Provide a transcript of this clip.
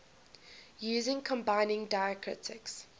using combining diacritics